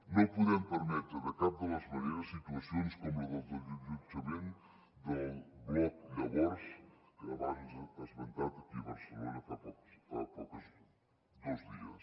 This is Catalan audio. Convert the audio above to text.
no podem permetre de cap de les maneres situacions com la del desallotjament del bloc llavors abans esmentat aquí a barcelona fa dos dies